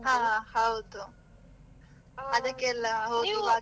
ಹಾ ಹೌದು, ಅದಕ್ಕೆ ಎಲ್ಲ .